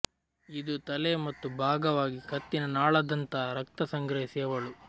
ಇದು ತಲೆ ಮತ್ತು ಭಾಗವಾಗಿ ಕತ್ತಿನ ನಾಳದಂಥ ರಕ್ತ ಸಂಗ್ರಹಿಸಿ ಅವಳು